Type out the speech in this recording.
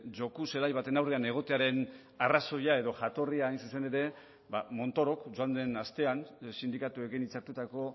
joku zelai baten aurrean egotearen arrazoia edo jatorria hain zuzen ere ba montorok joan den astean sindikatuekin hitzartutako